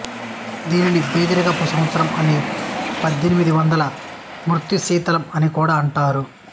దీన్ని బీదరికపు సంవత్సరం అని పద్దెనిమిద వందల మృత్యుశీతలం అనీ కూడా అంటారు